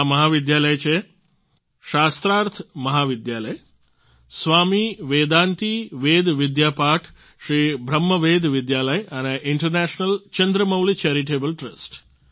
આ મહાવિદ્યાલય છે શાસ્ત્રાર્થ મહાવિદ્યાલય સ્વામી વેદાંતી વેદ વિદ્યાપીઠ શ્રી બ્રહ્મ વેદ વિદ્યાલય અને ઈન્ટરનેશનલ ચંદ્રમૌલી ચેરિટેબલ ટ્રસ્ટ